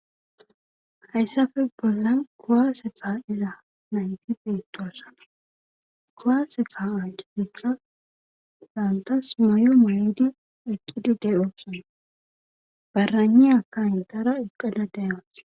hayssafe boldan kowaase fa iza nayti biittoossa kowaase faa a cufetha daantas mayo muydi eqqidi de7o barani aka hintara eqqala deawas